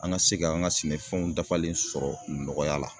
An ga se ka an ka sɛnɛfɛnw dafalen sɔrɔ nɔgɔya la